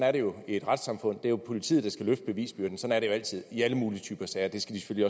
er det jo i et retssamfund det er jo politiet der skal løfte bevisbyrden sådan er det altid i alle mulige typer sager og det skal de